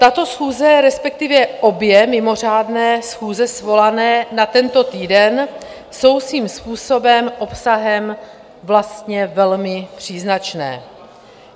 Tato schůze, respektive obě mimořádné schůze svolané na tento týden, jsou svým způsobem obsahem vlastně velmi příznačné.